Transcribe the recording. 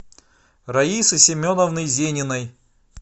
раисы семеновны зениной